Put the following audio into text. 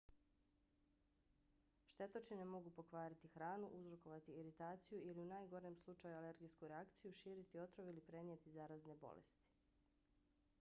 štetočine mogu pokvariti hranu uzrokovati iritaciju ili u najgorem slučaju alergijsku reakciju širiti otrov ili prenijeti zarazne bolesti